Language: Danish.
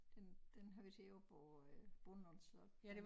Den den hører til oppe på øh Brundlund Slot